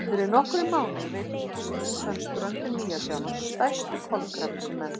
Fyrir nokkrum mánuðum veiddist undan ströndum Nýja-Sjálands stærsti kolkrabbi sem menn hafa fundið.